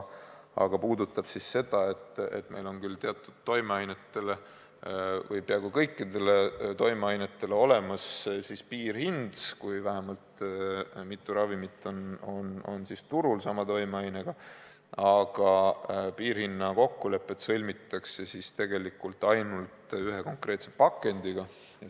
See puudutab seda, et meil on küll teatud toimeainetele või isegi peaaegu kõikidele toimeainetele olemas piirhind, kui vähemalt mitu ravimit on turul sama toimeainega, aga piirhinna kokkulepped sõlmitakse ainult ühe konkreetse pakendi kohta.